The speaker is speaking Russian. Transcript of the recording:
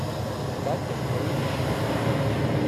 катя поищи